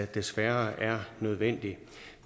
desværre er nødvendigt